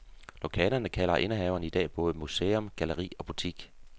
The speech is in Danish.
Lokalerne kalder indehaveren i dag både museum, galleri ogbutik.